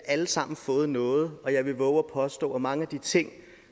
alle sammen fået noget og jeg vil vove at påstå at mange af de ting